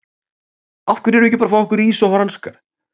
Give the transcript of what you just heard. Af hverju erum við ekki bara að fá okkur ís og franskar?